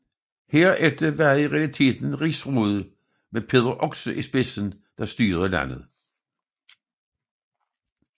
Herefter var det i realiteten Rigsrådet med Peder Oxe i spidsen der styrede landet